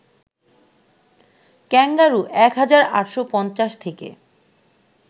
kangaroo ১ হাজার ৮৫০ থেকে